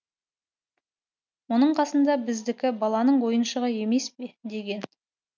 мұның қасында біздікі баланың ойыншығы емес пе деген